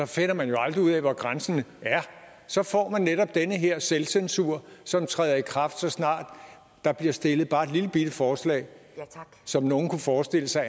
finder man jo aldrig ud af hvor grænsen er så får man netop den her selvcensur som træder i kraft så snart der bliver stillet bare et lillebitte forslag som nogle kunne forestille sig